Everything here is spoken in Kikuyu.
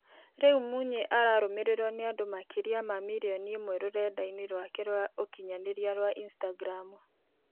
Rĩũ Munyĩ ararũmĩrĩrwo nĩ andũ makĩrĩa wa mirĩoni ĩmwe rũrenda-ĩnĩ rwake rwa ũkĩnyanĩrĩa rwa Instagram